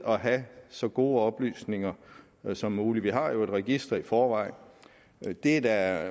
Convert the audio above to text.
at have så gode oplysninger som muligt vi har jo et register i forvejen og det er der